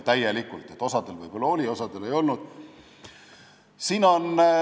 Osal võib-olla oli, osal ei olnud.